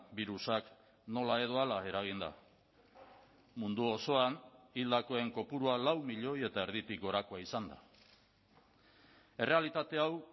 birusak nola edo hala eraginda mundu osoan hildakoen kopurua lau milioi eta erditik gorakoa izan da errealitate hau